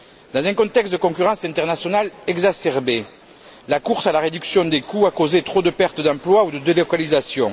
Dans un contexte de concurrence internationale exacerbée, la course à la réduction des coûts a causé trop de pertes d'emplois ou de délocalisations.